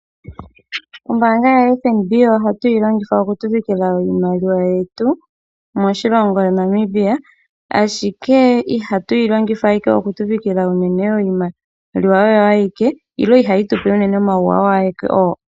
Ombanga yaFNB oha tuyi longitha oku pungula iimaliwa yetu moshilongo Namibia. Ashike iha tuyi longitha ashike okupungula iimaliwa oyo ayike nenge iha yi tupe ashike omawuwanawa agehe ngoka.